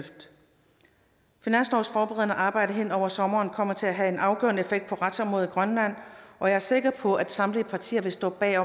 finanslovsforberedende arbejde hen over sommeren kommer til at have en afgørende effekt på retsområdet i grønland og jeg er sikker på at samtlige partier vil stå bag